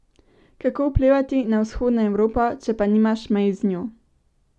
Kako vplivati na vzhodno Evropo, če pa nimaš mej z njo?